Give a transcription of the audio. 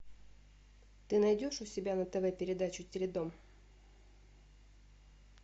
ты найдешь у себя на тв передачу теледом